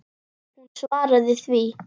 Hún svaraði því.